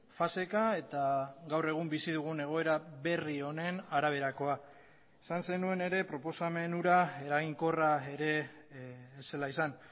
faseka eta gaur egun bizi dugun egoera berri honen araberakoa esan zenuen ere proposamen hura eraginkorra ere ez zela izan